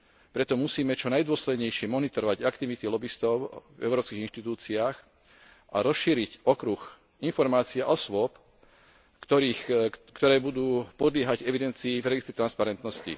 Preto musíme čo najdôslednejšie monitorovať aktivity lobistov v európskych inštitúciách a rozšíriť okruh informácií a osôb, ktoré budú podliehať evidencii v registri transparentnosti.